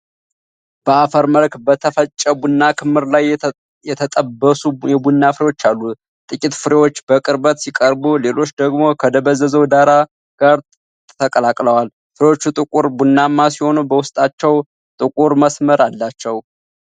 በአፈር መልክ በተፈጨ ቡና ክምር ላይ የተጠበሱ የቡና ፍሬዎች አሉ። ጥቂት ፍሬዎች በቅርበት ሲቀርቡ ሌሎቹ ደግሞ ከደበዘዘው ዳራ ጋር ተቀላቅለዋል። ፍሬዎቹ ጥቁር ቡናማ ሲሆኑ በውስጣቸው ጥቁር መስመር አላቸው።